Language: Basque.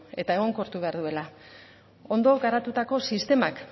eta egonkortu behar duela ondo garatutako sistemak